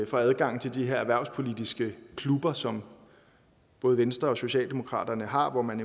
for adgang til de her erhvervspolitiske klubber som både venstre og socialdemokratiet har hvor man